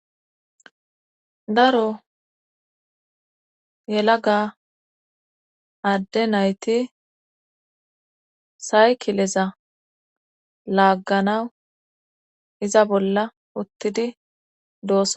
daro yelaga adde nayti saykileza laagganawu iza bolla uttidi doosonaa